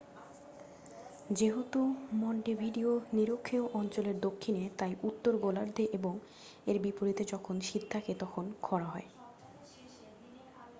যেহেতু মন্টেভিডিও নিরক্ষীয় অঞ্চলের দক্ষিণে তাই উত্তর গোলার্ধে এবং এর বিপরীতে যখন শীত থাকে তখন খড়া হয়